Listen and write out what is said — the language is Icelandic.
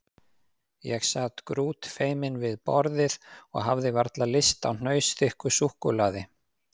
Ég sat grútfeiminn við borðið og hafði varla lyst á hnausþykku súkkulaði.